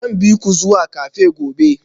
Zan bi ku zuwa cafe gobe